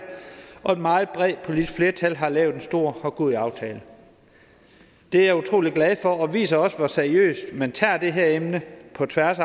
og et meget bredt politisk flertal har lavet en stor og god aftale det er jeg utrolig glad for og det viser også hvor seriøst man tager det her emne på tværs